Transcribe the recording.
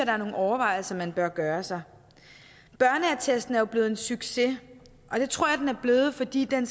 er nogle overvejelser man bør gøre sig børneattesten er jo blevet en succes og det tror jeg at den er blevet fordi den